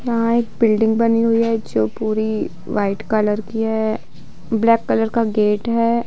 वहाँ एक बिल्डिंग बनी हुई है जो पूरी व्हाइट कलर की है ब्लैक कलर का गेट है।